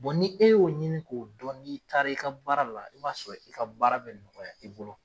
n'i e y'o ɲini k'o dɔn n'i taara i ka baara la i b'a sɔrɔ i ka baara bɛ nɔgɔya i bolo.